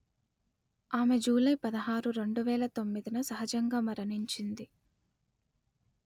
ఆమె జూలై పదహారు రెండు వేల తొమ్మిది న సహజంగా మరణించింది